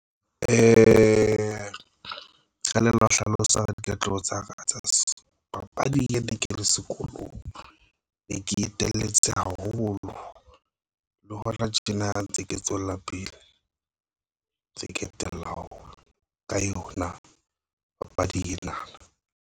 Kelello hlalosa ditletlebo tsa ka tsa papadi ya di ke le sekolong e ke etelletse haholo le hona tjena ntse ke tswella pele tse ke tellang ka yona. Papadi ena na.